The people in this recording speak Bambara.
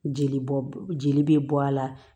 Jeli bɔ jeli bɛ bɔ a la